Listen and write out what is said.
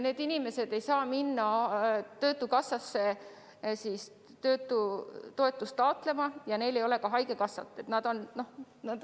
Need inimesed ei saa minna töötukassasse töötutoetust taotlema ja neil ei ole ka haigekassa kindlustust.